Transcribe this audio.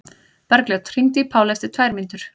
Bergljót, hringdu í Pálu eftir tvær mínútur.